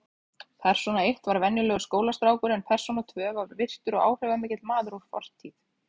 Persóna eitt var venjulegur skólastrákur en persóna tvö var virtur og áhrifamikill maður úr fortíð.